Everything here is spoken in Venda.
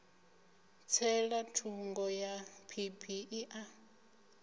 tsela thungo ya phiphiḓi a